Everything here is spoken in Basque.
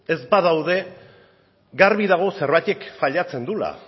ez badaude garbi dago zerbaitek fallatzen duela